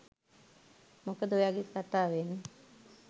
මොකද ඔයාගේ කතාවෙන්